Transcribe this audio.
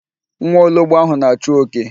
Nwa ologbo ahụ na-achụ oke.